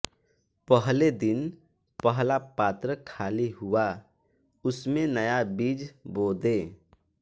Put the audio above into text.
पहले दिन पहला पात्र खाली हुआ उस में नया बीज बो दें